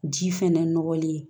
Ji fɛnɛ nɔgɔlen